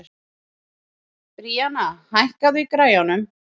Bríanna, hækkaðu í græjunum.